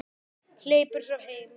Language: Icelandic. Hleypur svo heim.